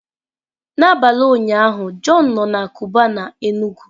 N'abalị ụnyaahụ john nọ na Cubana Enugu